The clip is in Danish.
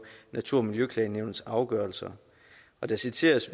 natur og miljøklagenævnets afgørelser der citeres